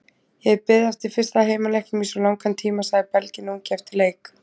Ég hef beðið eftir fyrsta heimaleiknum í svo langan tíma, sagði Belginn ungi eftir leik.